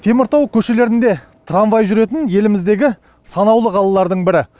теміртау көшелерінде трамвай жүретін еліміздегі санаулы қалалардың бірі